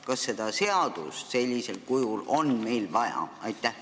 Kas seda seadust sellisel kujul on meil vaja?